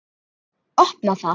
Opna það.